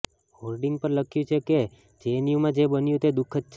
hoarding પર લખ્યું છે કે જેએનયુમાં જે બન્યું તે દુખદ છે